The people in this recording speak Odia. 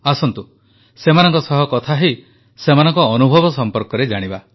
ଆସନ୍ତୁ ସେମାନଙ୍କ ସହ କଥା ହୋଇ ସେମାନଙ୍କ ଅନୁଭବ ସମ୍ପର୍କରେ ଜାଣିବା